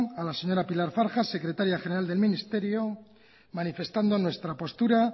a la señora pilar zarja secretaria general del ministerio manifestando nuestra postura